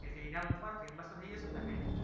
તે ઈનામ મુકો famous તો થઈ જશો ને તમે